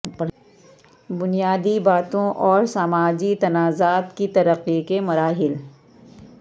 بنیادی باتوں اور سماجی تنازعات کی ترقی کے مراحل